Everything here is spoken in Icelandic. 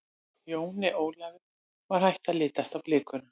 Jóni Ólafi var hætt að lítast á blikuna.